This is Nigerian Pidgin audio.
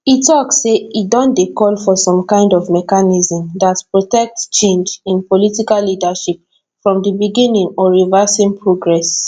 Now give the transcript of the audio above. e tok say e don dey call for some kind of mechanism dat protect change in political leadership from di beginning or reversing progress